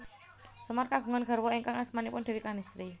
Semar kagungan garwa ingkang asmanipun Déwi Kanistri